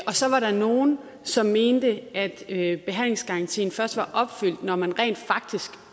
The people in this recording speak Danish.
så var der nogle som mente at behandlingsgarantien først var opfyldt når man rent faktisk